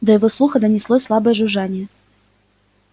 до его слуха донеслось слабое жужжание